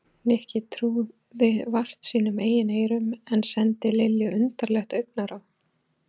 Nikki trúði vart sínum eigin eyrum en sendi Lilju undarlegt augnaráð.